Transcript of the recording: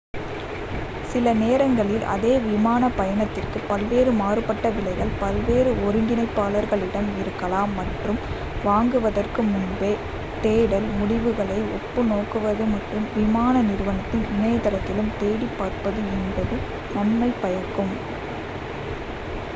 சில நேரங்களில் அதே விமான பயணத்திற்கு பல்வேறு மாறுபட்ட விலைகள் பல்வேறு ஒருங்கிணைப்பாளர்களிடம் இருக்கலாம் மற்றும் வாங்குவதற்கு முன்பு தேடல் முடிவுகளை ஒப்பு நோக்குவது மற்றும் விமான நிறுவனத்தின் இணையதளத்திலும் தேடிப் பார்ப்பது என்பது நன்மை பயக்கும்